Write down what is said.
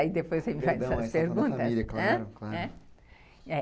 Daí depois você me faz as perguntas, né, né.